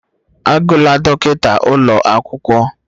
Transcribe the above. Agụla dọkịta ụlọ akwụkwọ